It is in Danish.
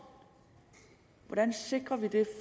hvordan sikrer vi det